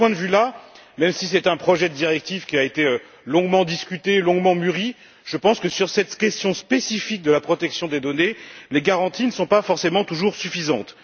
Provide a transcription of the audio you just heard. De ce point de vue, même si c'est un projet de directive qui a été longuement discuté, longuement mûri, sur cette question spécifique de la protection des données, les garanties ne sont pas forcément toujours suffisantes.